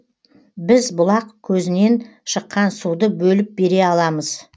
біз бұлақ көзінен шыққан суды бөліп бере аламыз